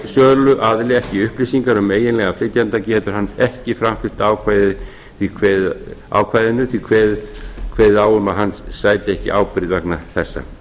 söluaðili ekki upplýsingar um eiginlegan flytjanda getur hann kveðið á um að hann sæti ekki ábyrgð vegna þessa